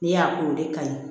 N'i y'a k'o de ka ɲi